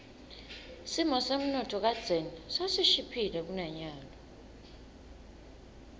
simo semnotfo kadzeni sasishiphile kunanyalo